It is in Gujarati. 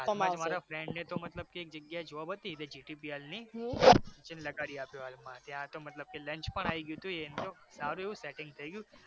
મારા friend ને તો મતલબ કે એક જગ્યા એ job હતી જ તે GTPL ની જેમ લગાડી આપીયો હાલમા ત્યાં તો મતલબ કે lunch પણ આઈ ગયું હતુ એને તો સારું એવું setting પણ થઈ ગયું